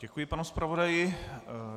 Děkuji panu zpravodaji.